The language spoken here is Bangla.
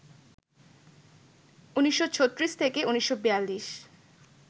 ১৯৩৬-১৯৪২